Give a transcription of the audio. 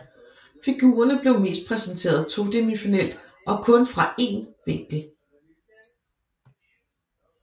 Figurerne bliver mest præsenteret todimensionelt og kun fra en vinkel